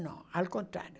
Não, ao contrário.